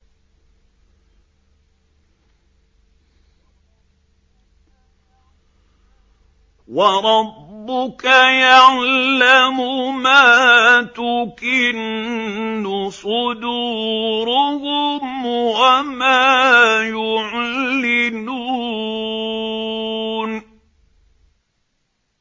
وَرَبُّكَ يَعْلَمُ مَا تُكِنُّ صُدُورُهُمْ وَمَا يُعْلِنُونَ